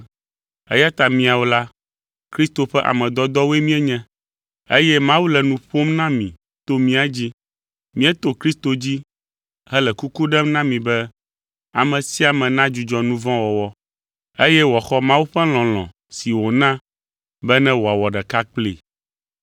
Eya ta míawo la, Kristo ƒe ame dɔdɔwoe míenye, eye Mawu le nu ƒom na mi to mía dzi. Míeto Kristo dzi hele kuku ɖem na mi be ame sia ame nadzudzɔ nu vɔ̃ wɔwɔ, eye wòaxɔ Mawu ƒe lɔlɔ̃ si wòna be ne wòawɔ ɖeka kplii.